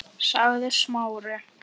sagði Smári.